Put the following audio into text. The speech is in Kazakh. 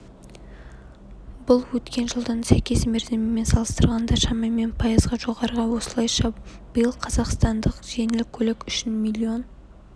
бұл өткен жылдың сәйкес мерзімімен салыстырғанда шамамен пайызға жоғары осылайша биыл қазақстандықтар жеңіл көлік үшін миллион